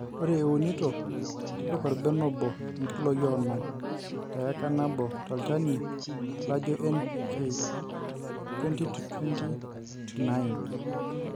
Ore iunito tipika orbene obo inkiloe onom te eika nabo tolchani laijo NPK(20:20:9,